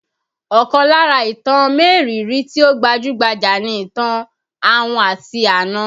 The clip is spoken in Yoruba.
Ọkàn lára ìtàn mériìírí tí ó gbajú-gbajà ni ìtàn ahun àti àna